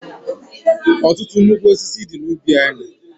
Ọtụtụ nnukwu osisi dị n'ubi anyị.